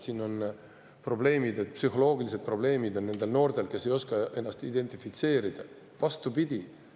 et noortel, kes ei oska ennast identifitseerida, on probleemid, psühholoogilised probleemid.